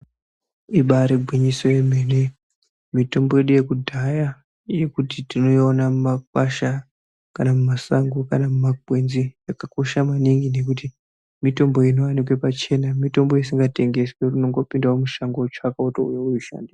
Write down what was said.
Ibari gwinyiso yemene mitombo yedu yekudhaya yekuti tinoona mumakwasha kana mumasango kana mumakwenzi yakakosha maningi ngekuti mitombo inowanika pachena mitombo isingatengeswi yekuti unongopindawo mumashango wotsvaka wotouya weishandisa.